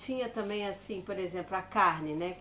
Tinha também assim, por exemplo, a carne, né?